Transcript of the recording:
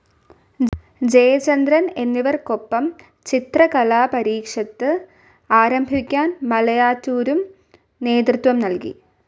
ജയചന്ദ്രൻ എന്നിവർക്കൊപ്പം ചിത്രകലാപരിഷത്ത് ആരംഭിക്കാൻ മലയാറ്റൂരും നേതൃത്വം നൽകി.